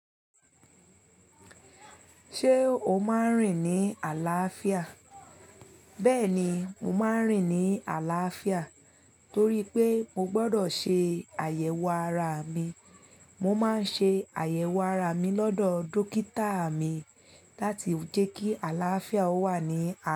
Ṣé o máa ń rìn ní àlàáfíà? Bẹ́ẹ̀ni, mo máa ń rìn ní àlàáfíà torí pé mo gbọ́dọ̀ ṣe àyẹ̀wò ara mi. Mo máa ń ṣe àyẹ̀wò ara mi lọ́dọ̀ dókítà mi láti jẹ́ kí àlàáfíà ó wà ní a.